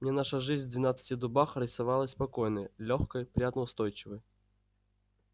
мне наша жизнь в двенадцати дубах рисовалась спокойной лёгкой приятно-устойчивой